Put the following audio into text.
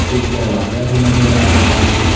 एक दरवाजा भी नजर आ रहा है।